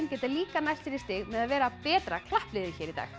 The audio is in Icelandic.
geta líka nælt sér í stig með að vera betra klappliðið hér í dag